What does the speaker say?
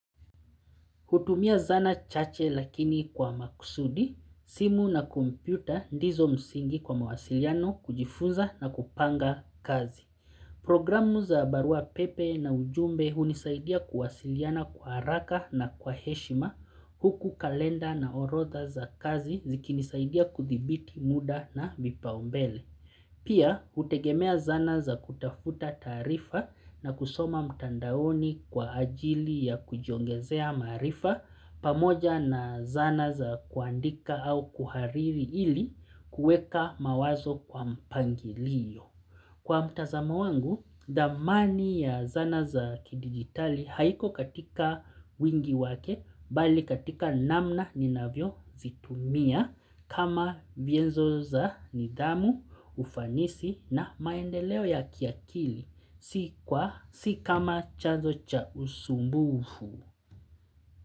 Hutumia zana chache lakini kwa maksudi, simu na kumpyoputa ndizo msingi kwa mawasiliano kujifunza na kupanga kazi. Programu za barua pepe na ujumbe hunisaidia kuwasiliana kwa haraka na kwa heshima, huku kalenda na orotha za kazi zikinisaidia kuthibiti muda na vipaumbele. Pia, hutegemea zana za kutafuta taarifa na kusoma mtandaoni kwa ajili ya kujiongezea maarifa pamoja na zana za kuandika au kuhariri ili kueka mawazo kwa mpangilio. Kwa mtazamo wangu, dhamani ya zana za kidigitali haiko katika wingi wake, bali katika namna ni navyo zitumia kama vienzo za nidhamu, ufanisi na maendeleo ya kiakili, si kama chanuzo cha usumbufu.